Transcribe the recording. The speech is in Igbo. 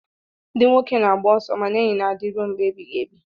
ndị nwoke na-agba ọsọ mana enyi na-adị ruo mgbe ebighị ebi